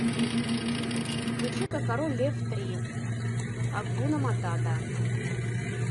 включи ка король лев три акуна матата